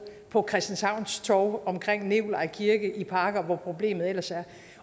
på christianshavns torv omkring nikolaj kirke i parker og hvor problemet ellers er